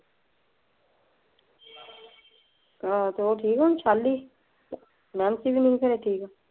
ਆਹ ਤੇ ਉਹ ਠੀਕ ਏ ਹੁਣ ਸ਼ਾਲੀ,